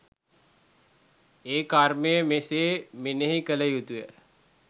ඒ කර්මය මෙසේ මෙනෙහි කළ යුතුය.